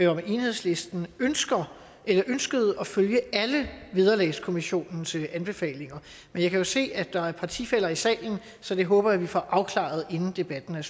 om enhedslisten ønskede at følge alle vederlagskommissionens anbefalinger men jeg kan jo se at der er partifæller i salen så det håber jeg at vi får afklaret inden debatten